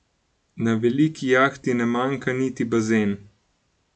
Na veliki jahti ne manjka niti bazen.